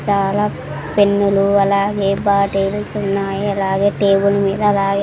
చాలా పెన్నులు అలాగే బాటిల్స్ ఉన్నాయి అలాగే టేబుల్ మీద అలాగే --